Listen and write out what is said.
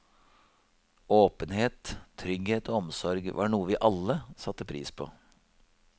Åpenhet, trygghet og omsorg var noe vi alle satte pris på.